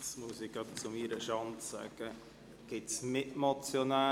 Gibt es Mitmotionäre, welche das Wort wünschen?